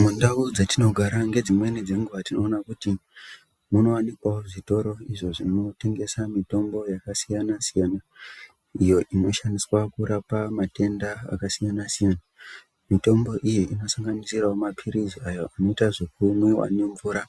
Mundau dzatinogara ngedzimweni dzenguwa tinoona kuti munowanikwawo zvitoro izvo zvinotengesa mitombo yakasiyana-siyana, iyo inoshandiswa kurapa matenda akasiyana-siyana. Mitombo iyi inosanganisirawo maphirizi ayo anoita zvekumwiwa nemvura